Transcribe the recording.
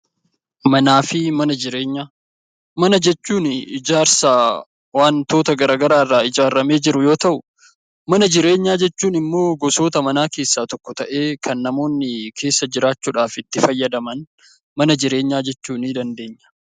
Manaa fi mana jireenyaa Mana jechuuni ijaarsa wantoota gara garaa irraa ijaaramee jiru yoo ta'u; Mana jireenyaa jechuun immoo gosoota manaa keessaa tokko ta'ee kan namoonni keessa jiraachuu dhaaf itti fayyadaman Mana jireenyaa jechuu ni dandeenya.